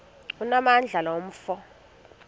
onamandla lo mfo